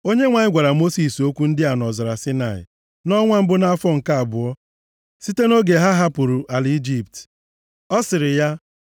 Onyenwe anyị gwara Mosis okwu ndị a nʼọzara Saịnaị nʼọnwa mbụ nʼafọ nke abụọ site nʼoge ha hapụrụ ala Ijipt. Ọ sịrị ya,